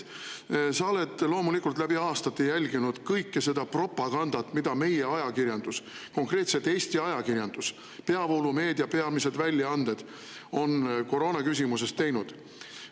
Sa oled loomulikult läbi aastate jälginud kõike seda propagandat, mida meie ajakirjandus, konkreetselt Eesti ajakirjandus, peavoolumeedia peamised väljaanded on koroonaküsimuses teinud.